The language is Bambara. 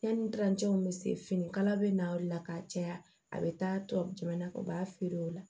Yanni bɛ se finikala bɛ na o de la ka caya a bɛ taa tubabu jamana kan u b'a feere o la